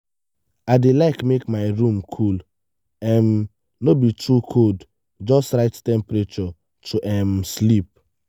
i dey like make my room cool um no be to cold just right temperature to um sleep.